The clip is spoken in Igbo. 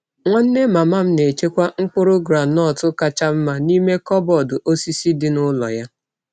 Nwanne mama m na-echekwa mkpụrụ groundnut kacha mma n’ime kọbọd osisi dị n’ụlọ ya.